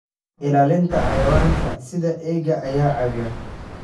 Ilaalinta Xayawaanka sida eeyaha ayaa caawiya.